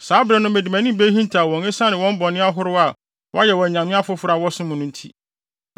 Saa bere no mede mʼanim behintaw wɔn esiane wɔn bɔne ahorow a wɔayɛ wɔ anyame afoforo a wɔsom no nti.